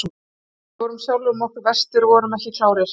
Við vorum sjálfum okkur verstir og vorum ekki klárir.